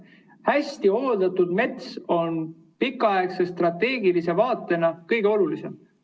Hästi hooldatud mets on pikaaegses strateegilises vaates kõige olulisem.